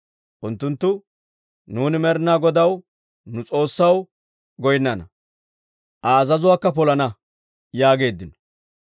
Unttunttu, «Nuuni Med'ina Godaw, nu S'oossaw, goynnana; Aa azazuwaakka polana» yaageeddino.